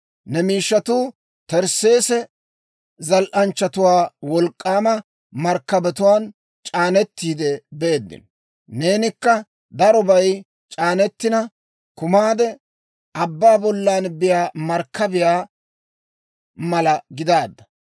«‹ «Ne miishshatuu Tersseesse zal"anchchatuwaa wolk'k'aama markkabatuwaan c'aanetiide beeddino. Neenikka darobay c'aanetina kumaade, abbaa bollan biyaa markkabiyaa mala gidaadda.